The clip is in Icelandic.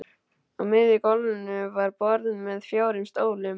Á miðju gólfinu var borð með fjórum stólum.